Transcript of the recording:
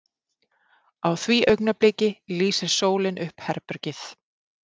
Á því augnabliki lýsir sólin upp herbergið.